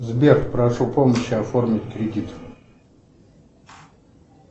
сбер прошу помощи оформить кредит